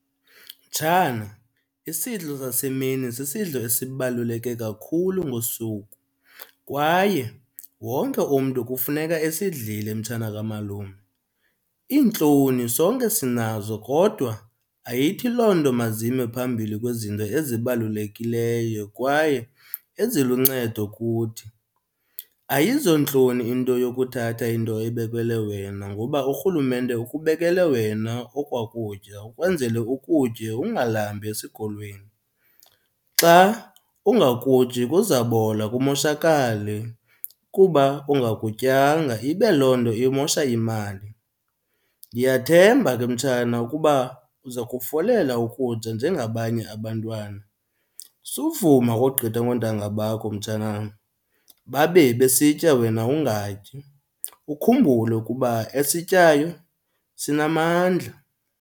Mtshana, isidlo sasemini sisidlo esibaluleke kakhulu ngosuku kwaye wonke umntu kufuneka esidlile mtshana kamalume. Iintloni sonke sinazo kodwa ayithi loo nto mazime phambili kwizinto ezibalulekileyo kwaye eziluncedo kuthi. Ayizontloni into yokuthatha into ebekelwe wena ngoba urhulumente ukubekele wena okwaa kutya ukwenzele ukutye ungalambi esikolweni. Xa ungakutyi kuzabola kumoshakale kuba ungakutyanga, ibe loo nto imosha imali. Ndiyathemba ke mtshana ukuba uza kufolela ukutya njengabanye abantwana. Suvuma ukogqithwa ngontanga bakho mtshanam, babe besitya wena ungatyi. Ukhumbule ukuba esityayo sinamandla.